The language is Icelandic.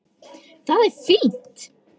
Það er fínt.